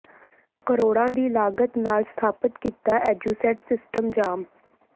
ਕਰੋੜਾਂ ਦੀ ਲਾਗਤ ਨਾਲ ਸਥਾਪਤ ਕੀਤਾ ਐਜੂਸੈਟ ਸਿਸਟਮ ਜਾਮ